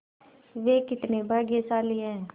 वे कितने भाग्यशाली हैं